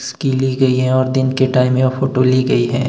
इसकी ली गई है और दिन के टाइम में यह फोटो ली गई है।